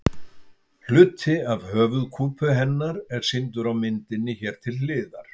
Hluti af höfuðkúpu hennar er sýndur á myndinni hér til hliðar.